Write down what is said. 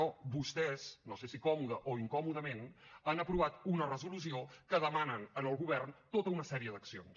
no vostès no sé si còmodament o incòmodament han aprovat una resolució que demana al govern tota una sèrie d’accions